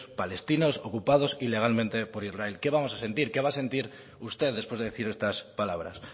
palestinos ocupados ilegalmente por israel qué vamos a sentir qué va a sentir usted después de decir estas palabras